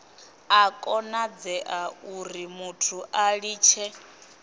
a konadzea urimuthu a litshe